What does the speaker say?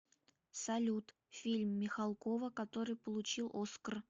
салют фильм михалкова который получил оскр